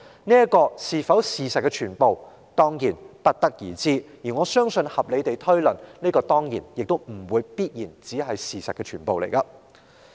至於這會否就是事實的全部，自是不得而知，但根據我的合理推論，這當然不可能會是事實的全部了。